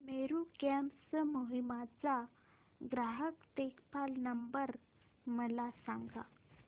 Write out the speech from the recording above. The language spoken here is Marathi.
मेरू कॅब्स कोहिमा चा ग्राहक देखभाल नंबर मला सांगा